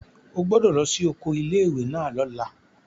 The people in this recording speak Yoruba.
O gbọ́dọ̀ lọ sí oko ilé ìwé náà lọ́la!